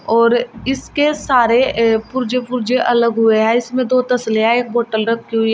और इसके सारे अ पुर्जे पुर्जे अलग हुए है इसमें दो तसले हैं एक बॉटल रखी हुई है।